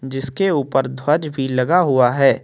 जिसके ऊपर ध्वज भी लगा हुआ है।